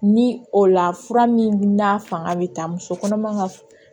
Ni o la fura min n'a fanga bɛ taa muso kɔnɔma ka